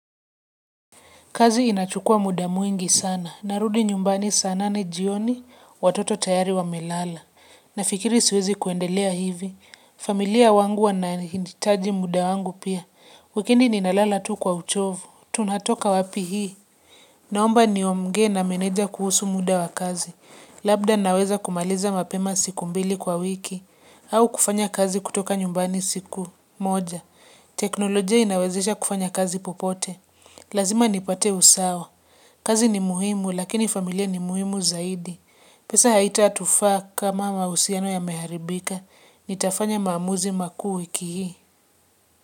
Kazi inachukua muda mwingi sana. Narudi nyumbani sana ni jioni watoto tayari wa melala. Nafikiri siwezi kuendelea hivi. Familia wangu wanahinditaji muda wangu pia. Wikini ninalala tu kwa uchovu. Tunatoka wapi hii. Naomba niogee na meneja kuhusu muda wa kazi. Labda naweza kumaliza mapema siku mbili kwa wiki. Au kufanya kazi kutoka nyumbani siku moja. Teknolojia inawezesha kufanya kazi popote. Lazima nipate usawa, kazi ni muhimu lakini familia ni muhimu zaidi. Pesa haita tufa kama mausiano ya meharibika, nitafanya maamuzi makuu wiki hii.